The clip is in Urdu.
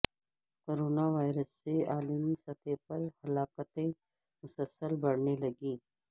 کروناوائرس سے عالمی سطح پر ہلاکتیں مسلسل بڑھنے لگیں